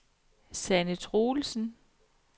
Sanne Troelsen